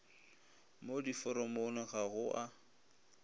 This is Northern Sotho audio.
mo diforomong ga go a